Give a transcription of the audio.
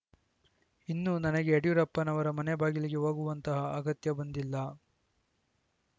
ಇನ್ನು ನನಗೆ ಯಡಿಯೂರಪ್ಪನವರ ಮನೆ ಬಾಗಿಲಿಗೆ ಹೋಗುವಂತಹ ಅಗತ್ಯ ಬಂದಿಲ್ಲ